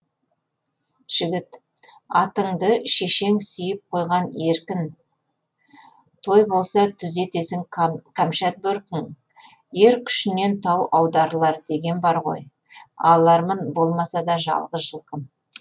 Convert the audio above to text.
жігіт атыңды шешең сүйіп қойған еркін той болса түзетесің қамшат бөркің ер күшінен тау аударылар деген бар ғой алармын болмаса да жалғыз жылқым